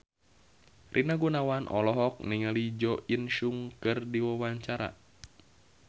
Rina Gunawan olohok ningali Jo In Sung keur diwawancara